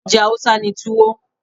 Oúnjẹ Hausa ni Tuwo.